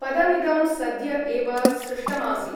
पदमिदं सद्य एव सृष्टमासीत्।